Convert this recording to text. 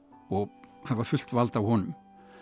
og hafa fullt vald á honum